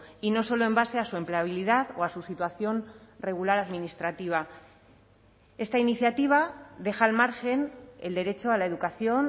y no solo en base a su empleabilidad o a su situación regular administrativa esta iniciativa deja al margen el derecho a la educación